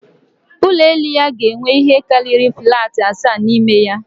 Ụlọ elu ya ga-enwe ihe karịrị flatị asaa n'ime ya